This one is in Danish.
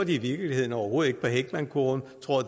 i virkeligheden overhovedet på heckmankurven